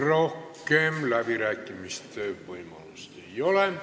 Rohkem läbirääkimiste võimalust ei ole.